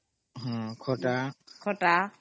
salad